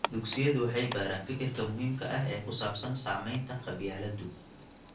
Dugsiyadu waxay baraan fikirka muhiimka ah ee ku saabsan saamaynta qabyaaladdu.